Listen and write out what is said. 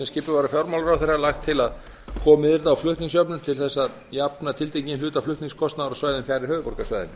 skipuð var af fjármálaráðherra lagt til að komið yrði á flutningsjöfnun til að jafna tiltekinn hluta flutningskostnaðar á svæðum fjarri höfuðborgarsvæðinu